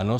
Ano.